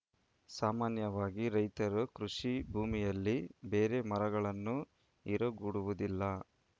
ಸಾಮಾನ್ಯವಾಗಿ ರೈತರು ಕೃಷಿ ಭೂಮಿಯಲ್ಲಿ ಬೇರೆ ಮರಗಳನ್ನು ಇರಗೊಡುವುದಿಲ್ಲ